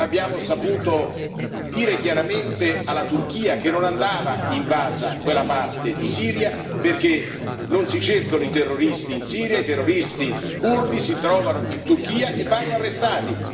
Non abbiamo saputo dire chiaramente alla Turchia che non andava invasa quella parte di Siria, perché non si cercano i terroristi in Siria, i terroristi curdi si trovano in Turchia e vanno arrestati.